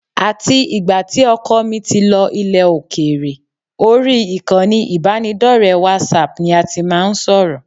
Àti ìgbà tí ọkọ mi ti lọ ilẹ̀ òkèèrè, orí ìkànnì ìbánidọ́rẹ̀ẹ́ WhatsApp ni a tí máa ń sọ̀rọ̀